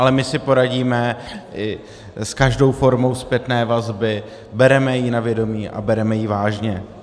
Ale my si poradíme s každou formou zpětné vazby, bereme ji na vědomí a bereme ji vážně.